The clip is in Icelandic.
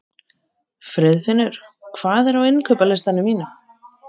Friðfinnur, hvað er á innkaupalistanum mínum?